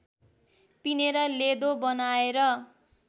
पिनेर लेदो बनाएर